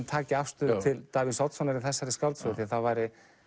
taki afstöðu til Davíðs Oddssonar í þessari skáldsögu það væri